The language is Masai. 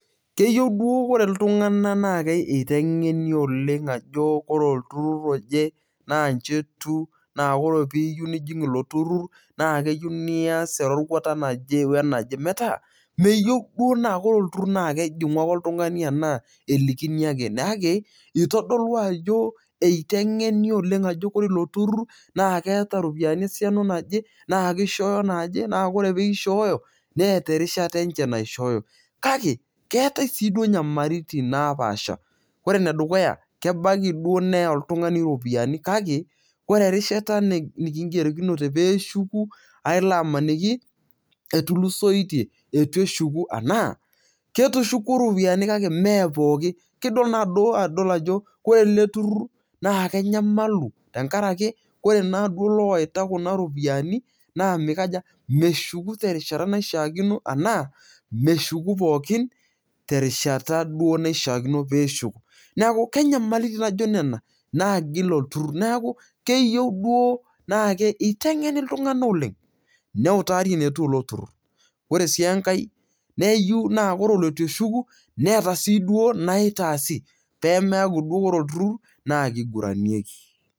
Keyeu duo kore iltung'anak naake iteng'eni oleng' ajo ore olturur oje naa nji etiu naa ore piiyeu nijing' ilo turur naake eyeu nias eroruata naje we naje. Metaa meyeu duo naake kore olturur naake ejing'u oltung'ani anaa elikini ake kake itodolu ajo eiteng'eni ajo kore ilo turur naake keeta ropiani esiana naje naake ishooyo naaje naa kore pishooyo neeta erishata enje naishooyo kake, keetai sii duo nyamaritin napaasha. Ore ene dukuya kebaki duo neya oltung'ani iropiani kake kore erishata neking'erokinote pee eshuku ailo amaniki etulusoitie etu eshuku enaa ketushukuo iropiani kake mee pookin kekidol ajo kore ele turur naake enyamalu tenkaraki kore laaduo loita kuna ropiani naa mikaja meshuku te rishata naishaakino enaa meshuku pookin terishata duo naishaakino pee eshuku. Neeku kenyamalitin naijo nena naagil oturur, neeku keyeu duo naake iteng'eni iltung'anak oleng' neutari enetiu ilo turur. Ore sii enkae neyeu naa iyiolo olitu eshuku neeta sii duo enaitaasi pee meeku kore olturur naake iguranieki.